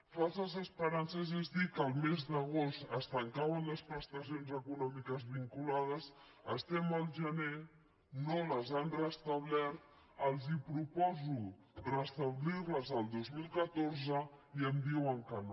falses esperances és dir que el mes d’agost es tancaven les prestacions econòmiques vinculades estem al gener no les han restablertes els proposo restablir les el dos mil catorze i em diuen que no